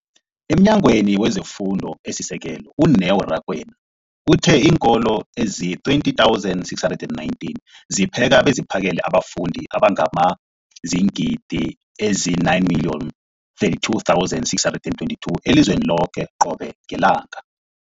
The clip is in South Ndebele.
EmNyangweni wezeFundo esiSekelo, u-Neo Rakwena, uthe iinkolo ezizi-20 619 zipheka beziphakele abafundi abangaba ziingidi ezili-9 032 622 elizweni loke qobe ngelanga.